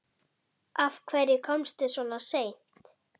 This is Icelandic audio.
Gefur mér ljóðið samt.